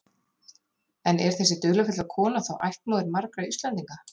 En er þessi dularfulla kona þá ættmóðir margra Íslendinga?